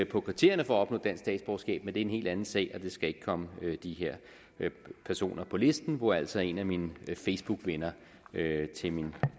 på kriterierne for at opnå dansk statsborgerskab men det er en helt anden sag og det skal ikke komme de her personer på listen hvor altså en af mine facebookvenner til min